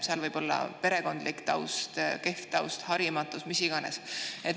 Seal taga võib olla perekondlik taust, kehv taust, harimatus, mis iganes.